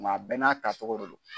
Nga a bɛɛ n'a tacogo de dɔ.